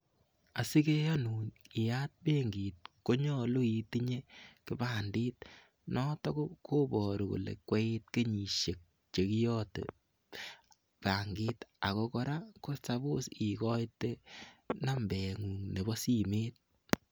Asikeyanun iyaat benkit konyolu itinye kipandit, noto koparu kole koiit kenyisiek che kiyote bankit ako kora kocham ikoitoi nambengung nepo simet.